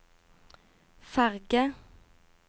ferge